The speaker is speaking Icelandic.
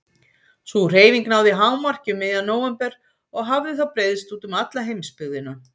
Sú hreyfing náði hámarki um miðjan nóvember og hafði þá breiðst út um alla heimsbyggðina.